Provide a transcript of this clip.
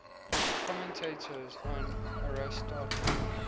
commentators on aristotle